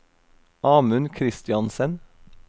Amund Kristiansen